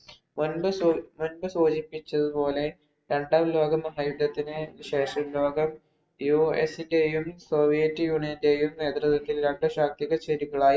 മുൻപ് സൂ മുന്‍പ് സൂചിപ്പിച്ചതുപോലെ രണ്ടാം ലോകമഹായുദ്ധത്തിന് ശേഷം ലോകം US ഇന്‍റെയും, soviet union ഇന്‍റെയും നേതൃത്വത്തിൽ രണ്ടു ശാക്തിക ചേരികളായി.